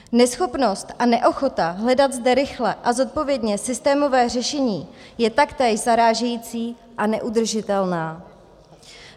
Neschopnost a neochota hledat zde rychle a zodpovědně systémové řešení je taktéž zarážející a neudržitelná.